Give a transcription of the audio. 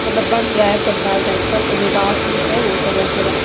मतलब बन रहा है पंडाल टाइप का जो बांस उस है वो सब ऐसे रखा--